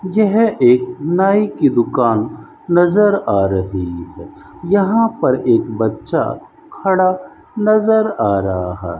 यह एक नाई की दुकान नजर आ रही है यहां पर एक बच्चा खड़ा नजर आ रहा --